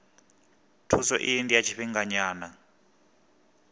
thuso iyi ndi ya tshifhinganyana